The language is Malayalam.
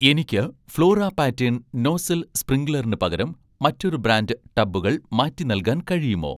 എനിക്ക് 'ഫ്ലോറ പാറ്റേൺ' നോസൽ സ്പ്രിങ്ക്ലറിന് പകരം മറ്റൊരു ബ്രാൻഡ് ടബുകൾ മാറ്റി നൽകാൻ കഴിയുമോ?